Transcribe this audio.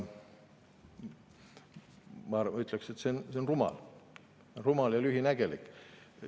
Ma ütleksin, et see on rumal ja lühinägelik.